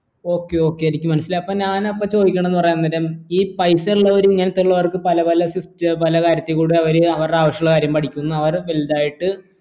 okay okay എനിക്ക് മനസിലായി അപ്പോ ഞാനപ്പോ ചോദിക്കണത് പറീന്നത് ഈ പൈസ ഉള്ളവർ ഇങ്ങനത്തെ ഉള്ളവർക്ക് പല പല കാര്യത്തിൽ കൂടെ അവരെ അവരുടെ ആവശ്യം ഉള്ള കാര്യങ്ങൾ പഠിക്കുന്നു അവരെ വലുതായിട്ട്